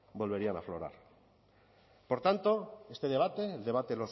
volverían a aflorar por tanto este debate el debate